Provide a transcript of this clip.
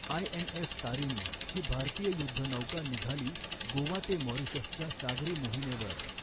INS Tarini ही भारतीय युद्धनौका निघाली गोवा ते म़ॉरिशसच्या सागरी मोहिमेवर